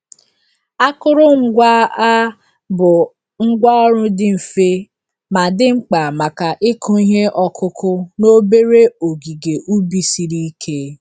Akụrụngwa a bụ ngwá ọrụ dị mfe, ma dị mkpa maka ịkụ ihe ọkụkụ n'obere ogige ubi siri ike.